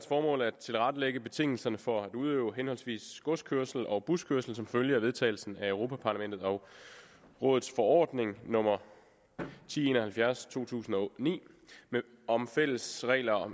formål at tilrettelægge betingelserne for at udøve henholdsvis godskørsel og buskørsel som følge af vedtagelsen af europa parlamentets og rådets forordning nummer ti en og halvfjerds 2009 om fælles regler og